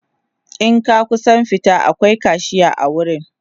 in ka kusa fita akwai kashiya a wurin